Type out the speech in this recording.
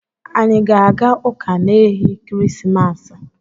Anyị ga-aga ụ̣ka n’ehi kirisimasa?